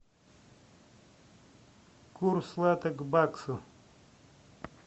курс лата к баксу